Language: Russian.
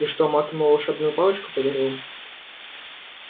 и что маг ему волшебную палочку подарил